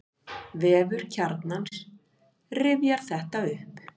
Vefur Kjarnans rifjar þetta upp.